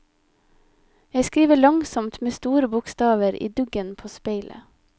Jeg skriver langsomt med store bokstaver i duggen på speilet.